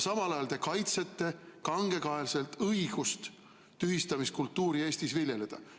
Samal ajal te kaitsete kangekaelselt õigust tühistamiskultuuri Eestis viljeleda.